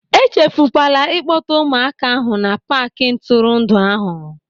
E chefukwala ịkpọta ụmụaka ahụ na paaki ntụrụndụ ahụ.